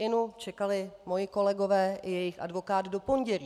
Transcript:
Inu, čekali mí kolegové i jejich advokát do pondělí.